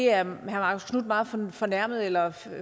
er meget fornærmet eller